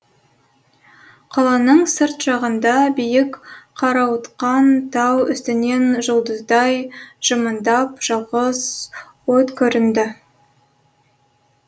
қаланың сырт жағында биік қарауытқан тау үстінен жұлдыздай жымыңдап жалғыз от көрінді